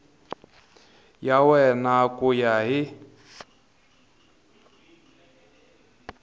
ya wena ku ya hi